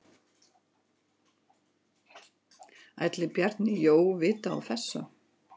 Ætli Bjarni Jó vita af þessu?